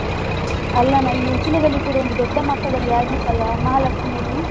ಅಲ್ಲನ ಇಲ್ಲಿ ಉಚ್ಚಿಲದಲ್ಲಿ ಕೂಡ ಒಂದು ದೊಡ್ಡ ಮಟ್ಟದಲ್ಲಿ ಆಗಿತ್ತಲ್ಲಾ, ಮಹಾಲಕ್ಷ್ಮಿಯಲ್ಲಿ.